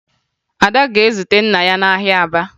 Ada ga-aga zute nna ya n'ahịa Aba